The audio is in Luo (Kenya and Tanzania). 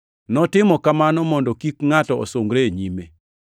Notimo kamano mondo kik ngʼato osungre e nyime.